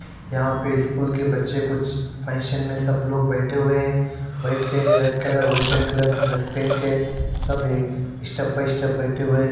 यहां पे स्कूल के बच्चे कुछ फंक्शन में सब लोग बैठे हुए हैं बैठके red colour white and colour dress पहन के सब स्टेप बाई स्टेप बैठे हुए--